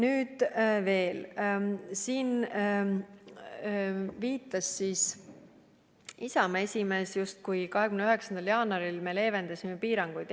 Isamaa esimees viitas siin, et me 29. jaanuaril justkui leevendasime piiranguid.